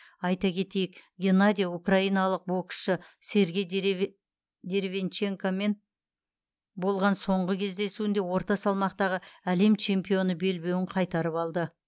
айта кетейік геннадий украиналық боксшы сергей деревянченкомен болған соңғы кездесуінде орта салмақтағы әлем чемпионы белбеуін қайтарып алды